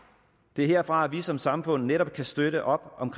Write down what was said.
det er herfra at vi som samfund netop kan støtte op om